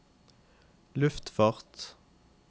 luftfart